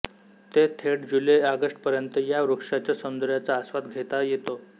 ते थेट जुलैऑगस्ट पर्यंत या वृक्षाच्या सौंदर्याचा आस्वाद घेता येतो